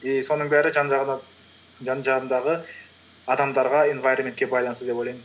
и соның бәрі жан жағымдағы адамдарға инвайроментке байланысты деп ойлаймын